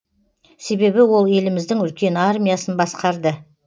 себебі ол еліміздің үлкен армиясын басқарды